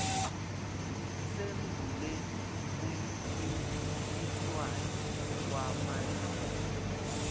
sembule umcintiswano wamalungu